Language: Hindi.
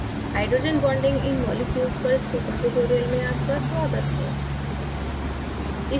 hydrogen bonding in molecules पर स्पोकन tutorial में आपका स्वागत है